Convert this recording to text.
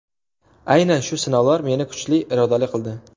Aynan shu sinovlar meni kuchli, irodali qildi.